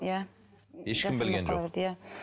иә ешкім білген жоқ иә